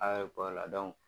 la